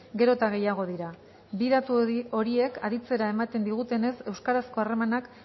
gero eta gehiago dira bi datu horiek aditzera ematen digutenez euskarazko harremanak